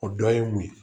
O dɔ ye mun ye